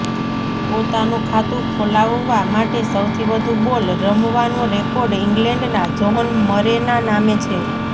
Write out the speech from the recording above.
પોતાનું ખાતું ખોલાવવા માટે સૌથી વધુ બોલ રમવાનો રેકોર્ડ ઇંગ્લેન્ડના જ્હોન મરેના નામે છે